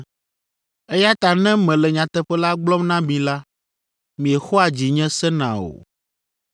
Eya ta ne mele nyateƒe la gblɔm na mi la, miexɔa dzinye sena o.